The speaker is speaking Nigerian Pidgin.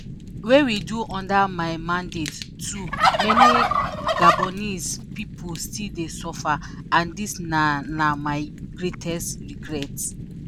wey we do under my mandate too many gabonese pipo still dey suffer and dis na na my greatest regret."